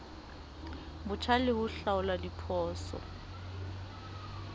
botjha le ho hlaola diphoso